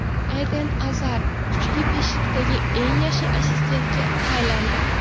Eden Azar kuchli beshlikdagi eng yaxshi assistentga aylandi.